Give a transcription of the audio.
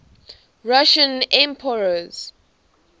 russian emperors